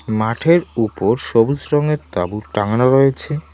মাঠের উপর সবুজ রঙের তাবু টাঙানো রয়েছে।